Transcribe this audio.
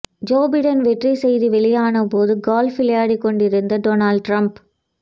Joe Biden வெற்றி செய்தி வெளியானபோது கோல்ப் விளையாடிக் கொண்டிருந்த டொனால்ட் டிரம்ப்